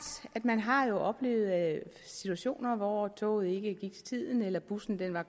at man har oplevet situationer hvor toget ikke gik til tiden eller bussen var